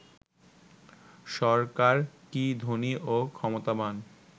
সরকার কি ধনী ও ক্ষমতাবান